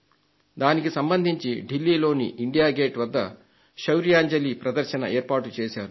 దానికి సంబంధించి న్యూ ఢిల్లీలోని ఇండియా గేట్ వద్ద శౌర్యాంజలి ప్రదర్శనను ఏర్పాటుచేశారు